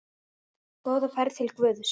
Góða ferð til Guðs.